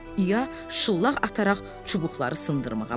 İya şullaq ataraq çubuqları sındırmağa başladı.